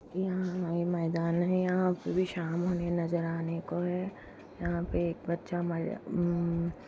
यहाँ ये मैदान है यहाँ पे भी शाम होने नज़र आने को है यहाँ पे एक बच्चा मैदान उम्म्म--